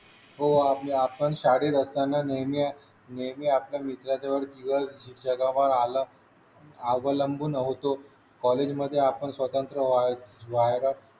हो आपल्या आपण शाळेत असताना नेहमी नेहमी आपल्या मित्राच्या जगा बाहेर आलं अवलंबून होतो कॉलेजमध्ये आपण स्वतंत्र व्हायचो व्हायलाच